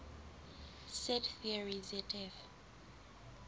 set theory zf